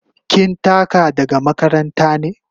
Kin taka daga makaranta ne?